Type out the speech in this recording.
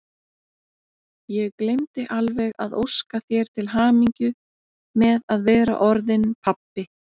Ég gleymdi alveg að óska þér til hamingju með að vera orðinn pabbi!